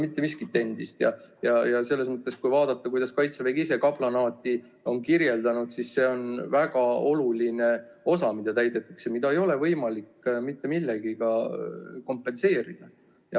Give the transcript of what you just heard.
Mitte miski ei ole endine ja kui vaadata, kuidas Kaitsevägi ise on kaplanaati kirjeldanud, siis see on väga oluline osa, mida täidetakse, mida ei ole võimalik mitte millegagi kompenseerida.